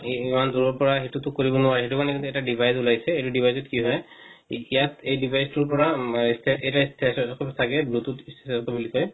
ইমান দূৰৰ পৰা সেইটো তো কৰিব নোৱাৰে সেইটো কাৰণে এতিয়া এই device উলাইছে এটো device ত কি হয় এতিয়া এই device টুৰ পৰা step এটা step option থাকে bluetooth বুলি কয়